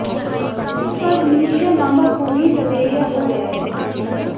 आखिरकार मिनिषा लांबा को भी लवेरिया हो गया है